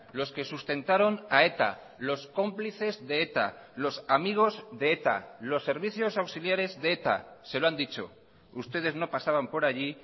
los que sustentaron a eta los cómplices de eta los amigos de eta los servicios auxiliares de eta se lo han dicho ustedes no pasaban por allí